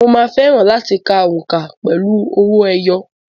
Mo máa fẹ́ràn láti ka òǹkà pẹ̀lú owó ẹyọ.